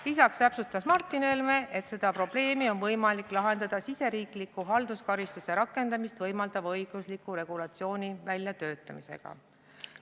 Lisaks täpsustas Martin Helme, et seda probleemi on võimalik lahendada riigisisese halduskaristuse rakendamist võimaldava õigusliku regulatsiooni väljatöötamisega.